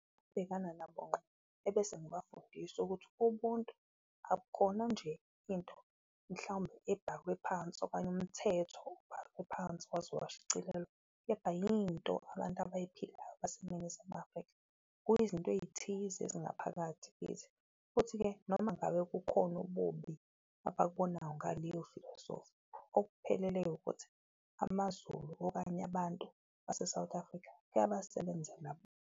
Bhekana nabo nqo ebese ngibafundisa ukuthi ubuntu abukhona nje into mhlawumbe ebhakwe phansi okanye umthetho ophansi waze washicilelwa, kepha yinto abantu abayiphilayo baseNingizimu Afrika. Kuyizinto eyithize ezingaphakathi kithi futhi-ke noma ngabe kukhona ububi abakubonayo ngaleyo filosofi okuphelele ukuthi amaZulu okanye abantu base-South Africa kuyasebenzela .